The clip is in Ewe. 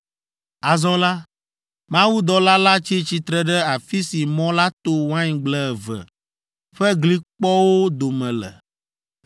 Azɔ la, mawudɔla la tsi tsitre ɖe afi si mɔ la to waingble eve ƒe glikpɔwo dome le.